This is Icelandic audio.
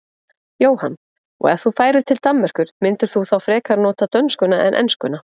Jóhann: Og ef þú færir til Danmerkur myndir þú þá frekar nota dönskuna en enskuna?